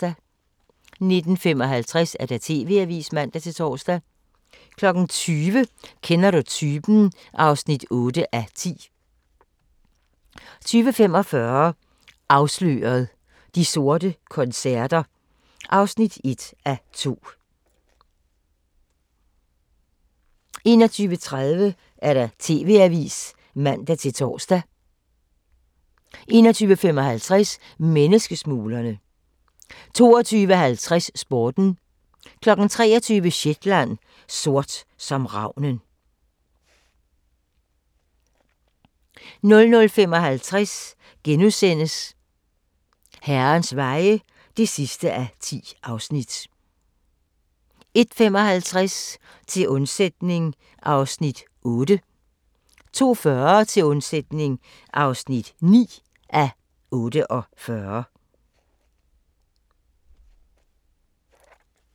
19:55: TV-avisen (man-tor) 20:00: Kender du typen? (8:10) 20:45: Afsløret – De sorte koncerter (1:2) 21:30: TV-avisen (man-tor) 21:55: Menneskesmuglerne 22:50: Sporten 23:00: Shetland: Sort som ravnen 00:55: Herrens veje (10:10)* 01:55: Til undsætning (8:48) 02:40: Til undsætning (9:48)